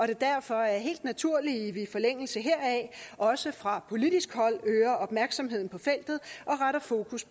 det derfor er helt naturligt at vi i forlængelse heraf også fra politisk hold øger opmærksomheden på feltet og retter fokus